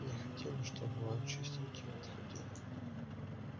не хотели чтобы он чистеньким отходил